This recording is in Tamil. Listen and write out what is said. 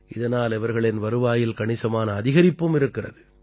இதனால் இவர்களின் வருவாயில் கணிசமான அதிகரிப்பும் இருக்கிறது